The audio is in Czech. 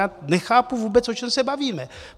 Já nechápu vůbec, o čem se bavíme.